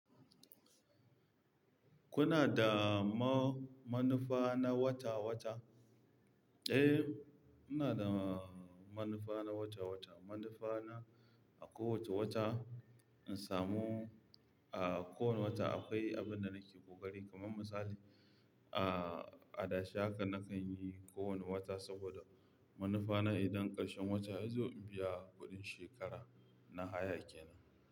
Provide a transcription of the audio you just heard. Kuna da ma-manufana wata-wata? Eh, ina da manufa na wata-wata. Manufana a kowace wata, in samu a kowane wata akwai abun da nake ƙoƙari. Kaman misali, a-adashi haka nakan yi kowane wata saboda manufana idan ƙarshen wata yazo in biya kuɗin shekara na haya kenan.